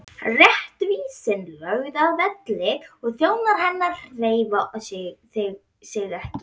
Réttvísin lögð að velli og þjónar hennar hreyfa sig ekki!